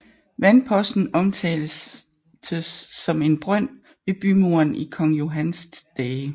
Vandposten omtaltes som en brønd ved bymuren i kong Johans dage